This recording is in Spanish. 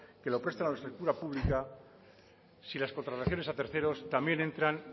que lo prestan a la pública si las contrataciones a terceros también entran